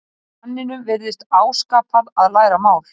Manninum virðist áskapað að læra mál.